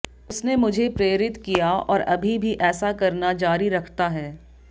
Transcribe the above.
उसने मुझे प्रेरित किया और अभी भी ऐसा करना जारी रखता है